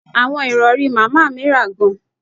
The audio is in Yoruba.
Awọn irọri Mama mi ra gan